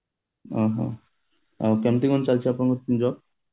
ଓହହୋ ଆଉ କେମିତି କଣ ଚାଲିଛି ଆପଣଙ୍କ job